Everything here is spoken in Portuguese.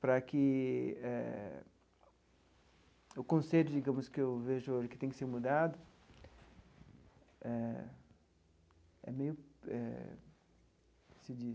Para que eh o conceito, digamos, que eu vejo que tem que ser mudado, é é meio eh... se diz...